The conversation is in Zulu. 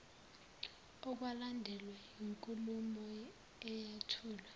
okwalandelwa yinkulumo eyathulwa